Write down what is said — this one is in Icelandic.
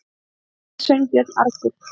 sagði Sveinbjörn argur.